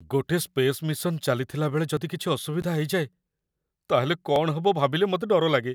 ଗୋଟେ space mission ଚାଲିଥିଲା ବେଳେ ଯଦି କିଛି ଅସୁବିଧା ହେଇଯାଏ, ତା'ହେଲେ କ'ଣ ହବ ଭାବିଲେ ମତେ ଡର ଲାଗେ ।